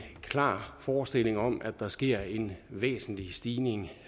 klar forestilling om at der sker en væsentlig stigning